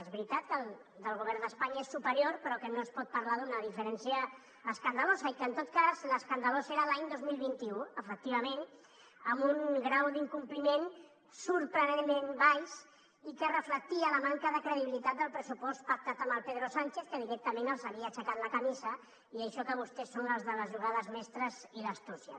és veritat que el del govern d’espanya és superior però no es pot parlar d’una diferència escandalosa i que en tot cas l’escandalós era l’any dos mil vint u efectivament en un grau d’incompliment sorprenentment baix i que reflectia la manca de credibilitat del pressupost pactat amb el pedro sánchez que directament els havia aixecat la camisa i això que vostès són els de les jugades mestres i l’astúcia